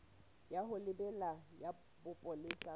ya ho lebela ya bopolesa